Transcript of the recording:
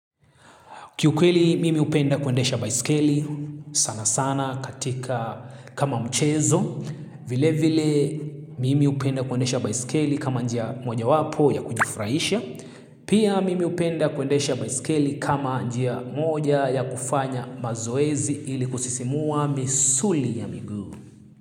Kiukweli mimi hupenda kuendesha baiskeli sana sana katika kama mchezo. Vile vile mimi hupenda kuendesha baiskeli kama njia moja wapo ya kujifurahisha. Pia mimi hupenda kuendesha baiskeli kama njia moja ya kufanya mazoezi ili kusisimua misuli ya miguu.